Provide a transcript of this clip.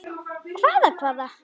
Hvaða hvaða.